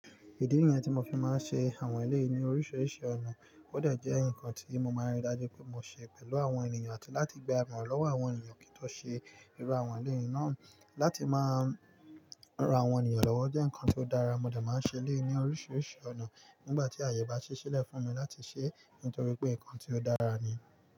Ìdí nìyẹn tí mo fi máa ń ṣe àwọn eleyii nii oríṣiríṣi ọ̀nà. Ó dẹ̀ jẹ́ ǹkan tí mo máa ń rí dájú pé mo ṣe pẹ̀lú àwọn ènìyàn àti láti gba ìmọ̀ràn lọ́wọ́ àwọn ènìyàn kí n tó ṣe irú àwọn eléyìí náà. Láti máa ran àwọn ènìyàn lọ́wọ́ jẹ́ ǹkan tó dára, mo dẹ̀ máa ń ṣe eléyìí ní oríṣiríṣi ọ̀nà nígbà tí àyè bá ṣí ṣílẹ̀ fúnmi láti ṣe, nítorí pé ǹkan tí ó dára ni.